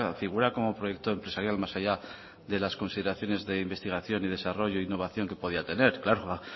figura como proyecto empresarial más allá de las consideraciones de investigación y desarrollo e innovación que podría tener claro